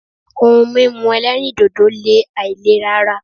Ohun mímú ẹlẹ́rìndòdò le àìlera ara.